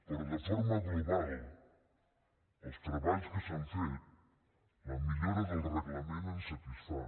però de forma global els treballs que s’han fet la millora del reglament ens satisfan